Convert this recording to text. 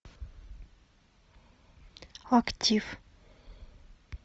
актив